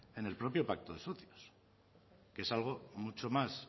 en el propio pacto de socios que es algo mucho más